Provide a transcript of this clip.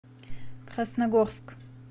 красногорск